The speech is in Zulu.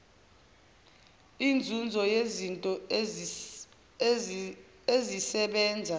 inzuzo yezinto ezisebenza